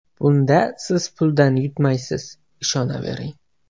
Bunda Siz puldan yutmaysiz, ishonavering!